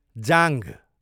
जाँघ